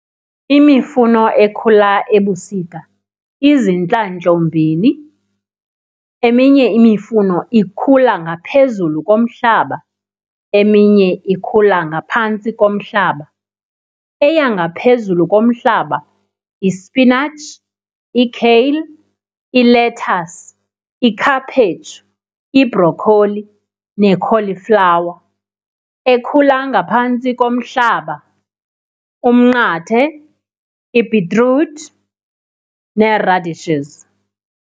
Imifuno ekhula ebusika izintlandlombini, eminye imifuno ikhula ngaphezulu komhlaba eminye ikhula ngaphantsi komhlaba. Eya ngaphezulu komhlaba ispinatshi, i-kale, ilethasi, ikhaphetshu, ibhrokholi ne-cauliflower. Ekhula ngaphantsi komhlaba, umnqathe, ibhitruthi nee-radishes.